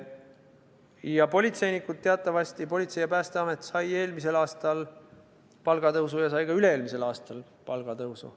Ja politseinikud, teatavasti Politsei- ja Piirivalveamet ning Päästeamet said eelmisel aastal palgatõusu ja said ka üle-eelmisel aastal palgatõusu.